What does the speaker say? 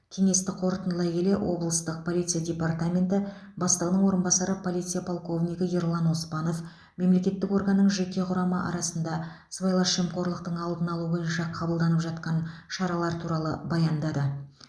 кеңесті қорытындылай келе облыстық полиция департаменті бастығының орынбасары полиция полковнигі ерлан оспанов мемлекеттік органның жеке құрамы арасында сыбайлас жемқорлықтың алдын алу бойынша қабылданып жатқан шаралар туралы баяндады